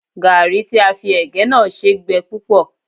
Gàárì tí a fi ẹ̀gẹ́ náà ṣe gbẹ púpọ̀